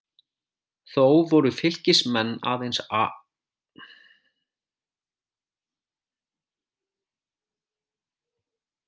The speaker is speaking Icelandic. Þó voru Fylkismenn aðeins áhugameiri og fengu betri færi.